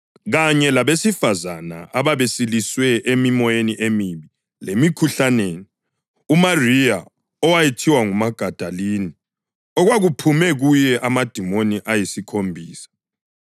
kanye labesifazane ababesiliswe emimoyeni emibi lemikhuhlaneni: uMariya (owayethiwa nguMagadalini) okwakuphume kuye amadimoni ayisikhombisa;